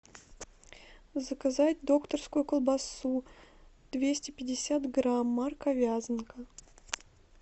заказать докторскую колбасу двести пятьдесят грамм марка вязанка